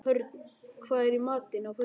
Hörn, hvað er í matinn á föstudaginn?